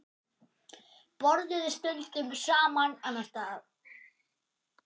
Borðuðu stundum annars staðar.